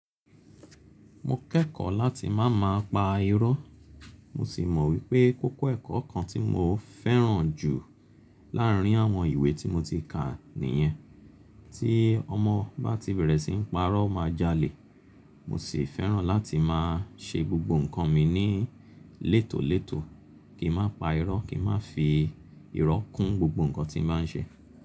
Mo kẹ́kọ̀ọ́ láti máa má pa irọ́. Mo sì mọ wípé kókó ẹ̀kọ́ kan tí mo fẹ́ràn jù láàrín àwọn ìwé tí mo ti kà nìyẹn. Tí ọmọ bá ti bèrè síi ń pa irọ́ o máa jalè. Mo sì fẹ́ràn láti máa ṣe gbogbo ǹnkan mi ní lètòlètò, kí n má pa irọ́, kí n má fi irọ́ kún gbogbo ǹnkan tí n bá ń ṣe.